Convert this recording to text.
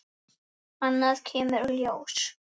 Annað kemur ljós